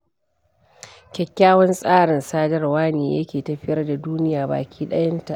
Kyakykyawan tsarin sadarwa ne yake tafiyar da duniya baki ɗayanta.